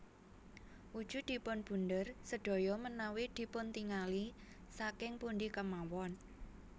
Wujudipun bunder sedaya menawi dipuntingali saking pundi kemawon